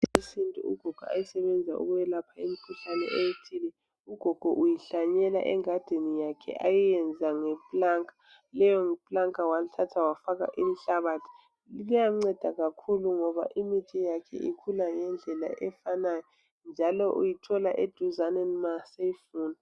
Imithi yesintu ugogo ayisebenzisa ukwelapha imikhuhlane ethile. Ugogo uyihlanyela engadini yakhe ayenza ngepulanka. Lelo pulanka walithatha wafaka inhlabathi liyanceda kakhulu ngoba imithi yakhe ikhula ngendlela efanayo njalo uyithola eduzane nxa seyifuna.